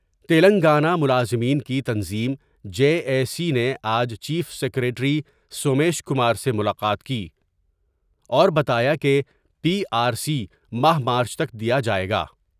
تلنگانہ ملازمین کی تنظیم جے اے سی نے آج چیف سکریٹری سومیش کمار سے ملاقات کی اور بتایا کہ پی آرسی ماہ مارچ تک دیا جاۓ گا۔